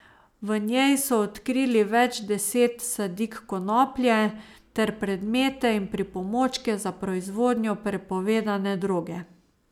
V njej so odkrili več deset sadik konoplje ter predmete in pripomočke za proizvodnjo prepovedane droge.